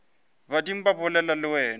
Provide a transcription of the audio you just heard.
badimo ba bolela le wena